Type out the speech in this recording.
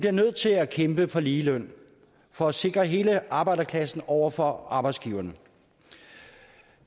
er nødt til at kæmpe for ligeløn for at sikre hele arbejderklassen over for arbejdsgiverne